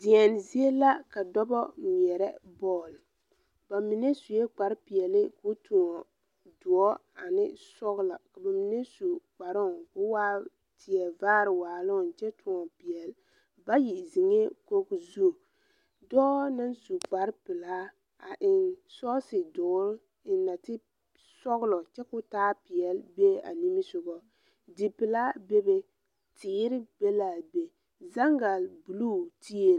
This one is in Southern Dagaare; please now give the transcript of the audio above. Deɛne zie la ka dɔbɔ ngmeɛɛrɛ bɔl ba mine suɛɛ kparre peɛɛli ko tõɔ doɔ ane sɔglɔ ka ba mine su kparoo koo waa tie vaare waaloŋ kyɛ tõɔ peɛɛli bayi zeŋɛɛ kogi zu dɔɔ naŋ su kparre pilaa a eŋ sɔɔse doɔre eŋ nate sɔglɔ kyɛ taa peɛɛli bee a nimisugɔ dipilaa bebe teere be laa ve zangalbluu tie.